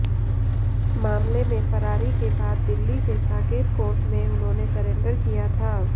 मामले में फरारी के बाद दिल्ली के साकेत कोर्ट में उन्होंने सरेंडर किया था